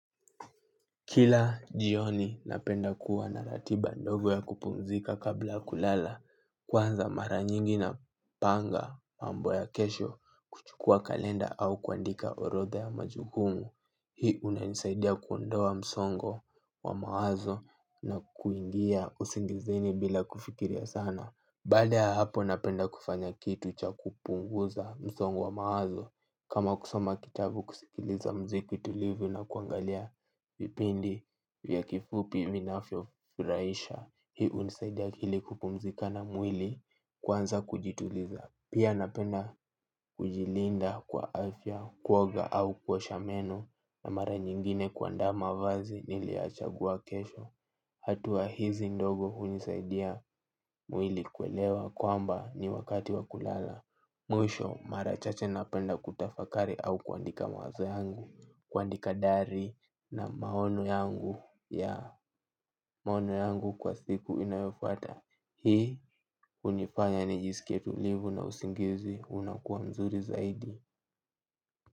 Kila jioni napenda kuwa na ratiba ndogo ya kupumzika kabla kulala. Kwanza mara nyingi napanga mambo ya kesho. Chukua kalenda au kuandika orodha ya majukumu. Hii inanisaidia kuondoa msongo wa mawazo na kuingia usingizini bila kufikiria sana. Baada ya hapo napenda kufanya kitu cha kupunguza msongo wa maazo. Kama kusoma kitabu kusikiliza mziki tulivu na kuangalia vipindi vya kifupi vinavyofurahisha. Hii unisaidia akili kupumzika na mwili kwanza kujituliza. Pia napenda kujilinda kwa afya kuoga au kuosha meno. Na mara nyingine kuanda mavazi niliyochagua kesho. Hatua hizi ndogo unisaidia mwili kuelewa kwamba ni wakati wa kulala. Mwisho mara chache napenda kutafakari au kuandika mawazo yangu. Kuandika diary na maono yangu. Ya, maono yangu kwa siku inayofuata. Hii, unifanya nijisikie tulivu na usingizi. Unakuwa mzuri zaidi.